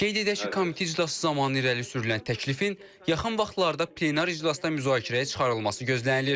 Qeyd edək ki, komitə iclası zamanı irəli sürülən təklifin yaxın vaxtlarda plenar iclasda müzakirəyə çıxarılması gözlənilir.